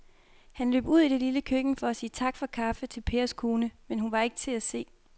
Han løb ud i det lille køkken for at sige tak for kaffe til Pers kone, men hun var ikke til at se.